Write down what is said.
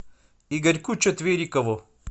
игорьку четверикову